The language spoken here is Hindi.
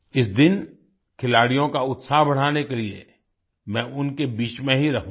इस दिन खिलाड़ियों का उत्साह बढ़ाने के लिए मैं उनके बीच में ही रहूँगा